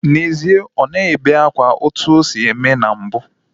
N'ezie, ọ naghị ebe akwa etu o si eme na mbu.